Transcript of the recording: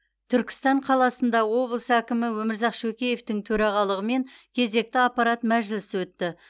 түркістан қаласында облыс әкімі өмірзақ шөкеевтің төрағалығымен кезекті аппарат мәжілісі өтті